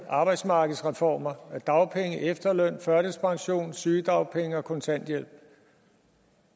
arbejdsmarkedsreformer af dagpenge efterløn førtidspension sygedagpenge og kontanthjælp